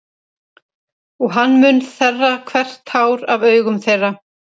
Og hann mun þerra hvert tár af augum þeirra.